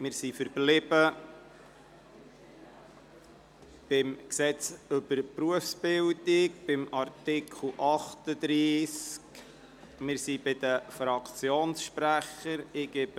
Wir sind bei Artikel 38a des Gesetzes über die Berufsbildung, die Weiterbildung und die Berufsberatung (BerG) stehen geblieben.